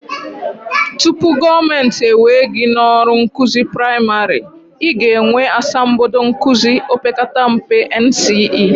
Tupu ndị gọọmenti ewee gị n'ọrụ nkụzi praịmarị, I ga-enwe asambodo nkụzi opekata mpe, NCE